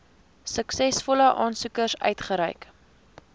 suksesvolle aansoekers uitgereik